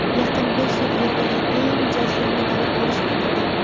Yaqin besh yil Yerdagi eng jazirama davr bo‘lishi aytildi.